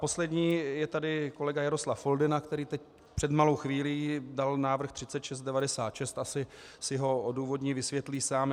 Poslední je tady kolega Jaroslav Foldyna, který teď před malou chvílí dal návrh 3696, asi si ho odůvodní, vysvětlí sám.